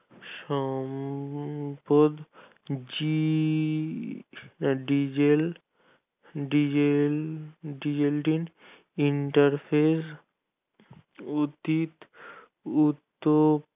সম্পদ জি diesel diesel diesel interfere উদিত উদ্যোগ বিষয়ের সম্পদ